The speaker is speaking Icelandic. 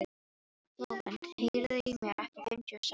Flóvent, heyrðu í mér eftir fimmtíu og sex mínútur.